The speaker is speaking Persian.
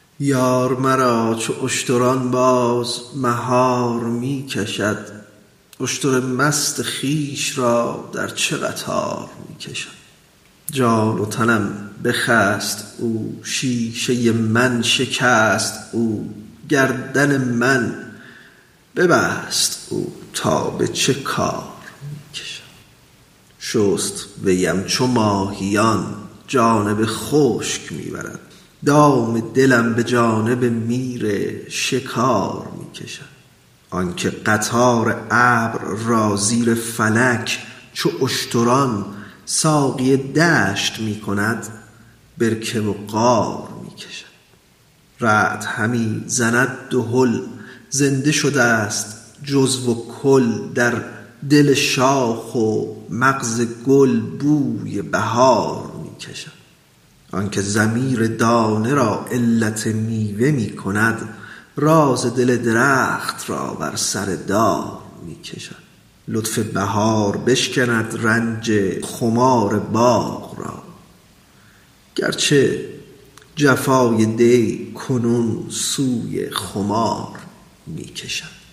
یار مرا چو اشتران باز مهار می کشد اشتر مست خویش را در چه قطار می کشد جان و تنم بخست او شیشه من شکست او گردن من به بست او تا به چه کار می کشد شست ویم چو ماهیان جانب خشک می برد دام دلم به جانب میر شکار می کشد آنک قطار ابر را زیر فلک چو اشتران ساقی دشت می کند برکه و غار می کشد رعد همی زند دهل زنده شدست جزو و کل در دل شاخ و مغز گل بوی بهار می کشد آنک ضمیر دانه را علت میوه می کند راز دل درخت را بر سر دار می کشد لطف بهار بشکند رنج خمار باغ را گرچه جفای دی کنون سوی خمار می کشد